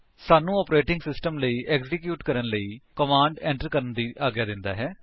ਸਾਨੂੰ operating system ਲਈ execute ਕਰਨ ਲਈ ਕਮਾਂਡਸ enter ਕਰਨ ਦੀ ਆਗਿਆ ਦਿੰਦਾ ਹੈ